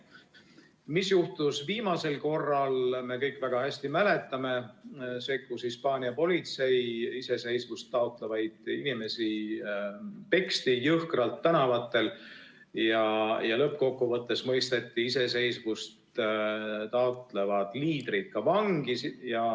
Seda, mis juhtus viimasel korral, me kõik väga hästi mäletame: sekkus Hispaania politsei, iseseisvust taotlevaid inimesi peksti jõhkralt tänavatel ja lõppkokkuvõttes mõisteti iseseisvust taotlevad liidrid ka vangi.